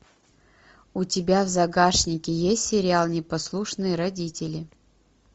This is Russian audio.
у тебя в загашнике есть сериал непослушные родители